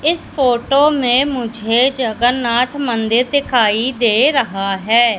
इस फोटो में मुझे जगन्नाथ मंदिर दिखाई दे रहा है।